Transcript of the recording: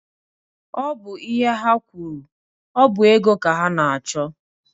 Ọ bụ ihe ha kwuru. Ọ bụ ego ka ha na-achọ.